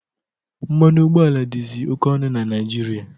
Mmanụ ụgbọala dịzị oke ọnụ na Naịjirịa.